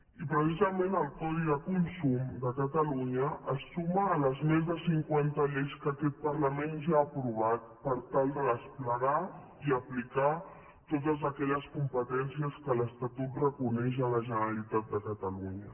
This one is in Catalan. i precisament el codi de consum de catalunya es suma a les més de cinquanta lleis que aquest parlament ja ha aprovat per tal de desplegar i aplicar totes aquelles competències que l’estatut reconeix a la generalitat de catalunya